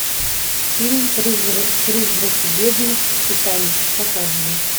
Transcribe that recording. фильм призраки бездны титаник показывай